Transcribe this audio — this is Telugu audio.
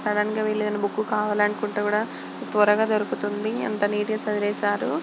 సడన్గా వీళ్ళు ఏదైనా బుక్కు కావాలనుకుంటే కూడా త్వరగా దొరుకుతుంది. ఎంత నీటు గా సెట్ చేసారు.